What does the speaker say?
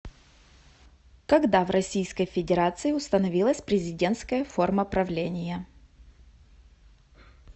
когда в российской федерации установилась президентская форма правления